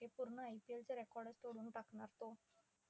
ते पुर्ण IPL च record चं तोडून टाकणार तो.